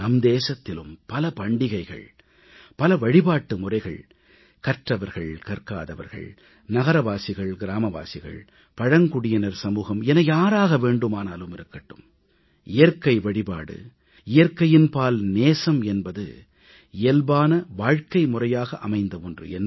நம் தேசத்திலும் பல பண்டிகைகள் பல வழிபாட்டு முறைகள் கற்றவர்கள்கற்காதவர்கள் நகரவாசிகள்கிராமவாசிகள் பழங்குடியினர் சமூகம் என யாராக வேண்டுமானாலும் இருக்கட்டும் இயற்கை வழிபாடு இயற்கையின்பால் நேசம் என்பது இயல்பான வாழ்கைமுறையாக அமைந்த ஒன்று